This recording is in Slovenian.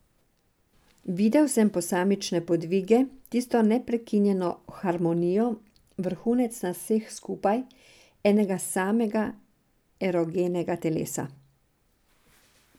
Videl sem posamične podvige, tisto neprekinjeno harmonijo, vrhunec nas vseh skupaj, enega samega erogenega telesa.